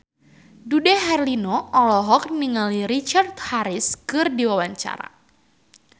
Dude Herlino olohok ningali Richard Harris keur diwawancara